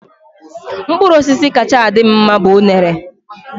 Mkpụrụ osisi kacha adị m mma bu unere.